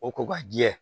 O ko ka jɛ